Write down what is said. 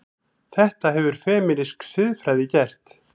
Þetta hefur femínísk siðfræði gert.